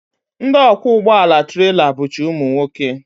Ndị ọkwọ ụgbọala trela bụcha ụmụnwoke